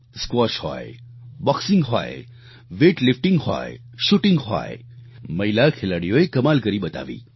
squash હોય boxing હોય weightlifting હોય શૂટિંગ હોય મહિલા ખેલાડીઓએ કમાલ કરી બતાવી